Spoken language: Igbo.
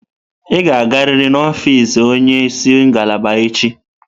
Ị ga-agarịrị na ọfịz onye isi ngalaba echi!